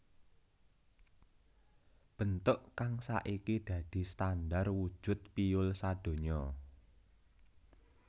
Bentuk kang saiki dadi standar wujud piyul sadonya